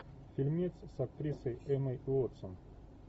фильмец с актрисой эммой уотсон